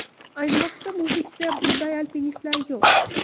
Ayni vaqtda muzlikda bunday alpinistlar yo‘q.